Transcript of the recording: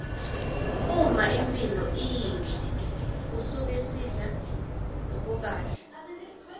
uma imphilo iyihle kusuke sidla lokukahle